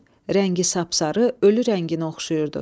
Rəngi sapsarı, ölü rənginə oxşayırdı.